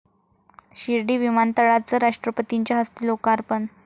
शिर्डी विमानतळाचं राष्ट्रपतींच्या हस्ते लोकार्पण